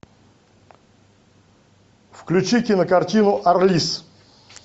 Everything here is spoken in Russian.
включи кинокартину арлисс